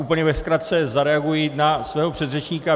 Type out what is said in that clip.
Úplně ve zkratce zareaguji na svého předřečníka.